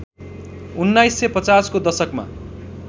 १९५० को दशकमा